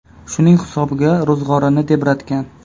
Shuning hisobiga ro‘zg‘orini tebratgan.